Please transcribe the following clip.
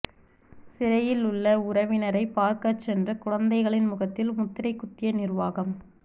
சிறையில் உள்ள உறவினரை பார்க்க சென்ற குழந்தைகளின் முகத்தில் முத்திரை குத்திய நிர்வாகம்